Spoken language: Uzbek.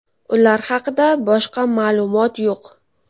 Ular haqida boshqa ma’lumot yo‘q.